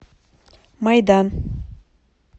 майдан